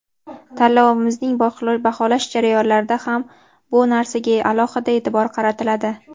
Tanlovimizning baholash jarayonlarida ham bu narsaga alohida e’tibor qaratiladi.